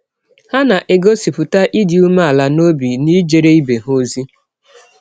Ha na - egọsipụta ịdị ụmeala n’ọbi n’ijere ibe ha ọzi.